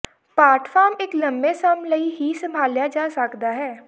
ਪਾਟ ਫਾਰਮ ਇੱਕ ਲੰਮੇ ਸਮ ਲਈ ਹੀ ਸੰਭਾਲਿਆ ਜਾ ਸਕਦਾ ਹੈ